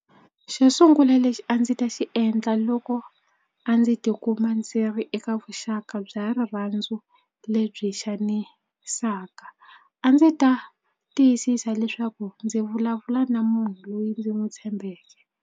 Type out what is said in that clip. Xo sungula lexi a ndzi ta xi endla loko a ndzi tikuma ndzi ri eka vuxaka bya rirhandzu lebyi xanisaka a ndzi ta tiyisisa leswaku ndzi vulavula na munhu loyi ndzi n'wi tshembeke.